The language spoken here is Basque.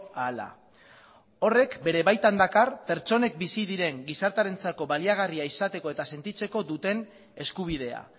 ahala horrek bere baitan dakar pertsonek bizi diren gizartearentzako baliagarria izateko eta sentitzeko duten eskubidea